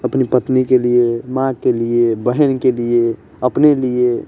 अपनी पत्नी के लिए माँ के लिए बहिन के लिए अपने लिए --